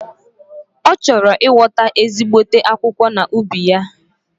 Ochoro ighota ezigbote akwukwo na ubi ya.